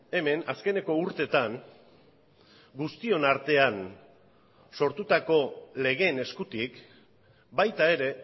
hemen azkeneko urteetan guztion artean sortutako legeen eskutik baita ere